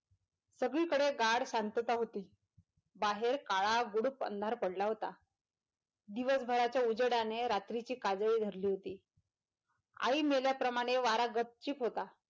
सगळी कडे गाढ शांतता होती बाहेर काळा गुडूप अंधार पडला होता दिवसभराच्या उजेडाने रात्रीची काजळी धरली होती आई मेल्याप्रमाणे वारा गपचीप होता.